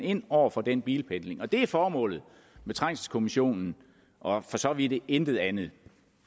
ind over for den bilpendling det er formålet med trængselskommissionen og for så vidt intet andet